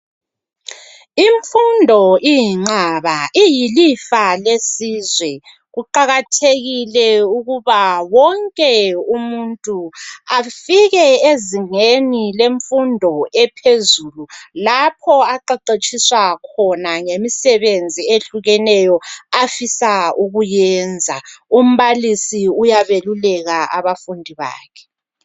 Imfundo iyinqaba iyilifa lesizwe kuqakathekile ukuba wonke umuntu afike ezingeni lemfundo ephezulu lapho aqeqetshiswa khona ngemisebenzi ehlukeneyo afisa ukuyenza umbalisi uyabeluleka abafundi bakhe